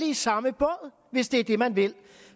i samme båd hvis det er det man vil